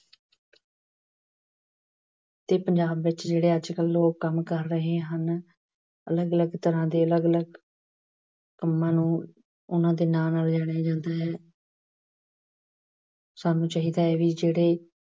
ਤੇ ਪੰਜਾਬ ਵਿੱਚ ਜਿਹੜੇ ਅੱਜ ਕੱਲ੍ਹ ਲੋਕ ਕੰਮ ਕਰ ਰਹੇ ਹਨ। ਅਲੱਗ- ਅਲੱਗ ਤਰ੍ਹਾਂ ਦੇ ਅਲੱਗ-ਅਲੱਗ ਕੰਮਾਂ ਨੂੰ ਉਹਨਾਂ ਦੇ ਨਾਂ ਨਾਲ ਜਾਣਿਆ ਜਾਂਦਾ ਹੈ। ਸਾਨੂੰ ਚਾਹੀਦਾ ਹੈ ਵੀ ਜਿਹੜੇ